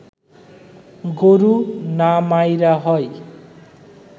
গরু না মাইরা হয়